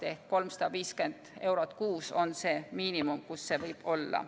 Ehk 350 eurot kuus on see miinimum, kus see võib olla.